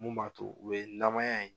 Mun b'a to u bɛ namaya in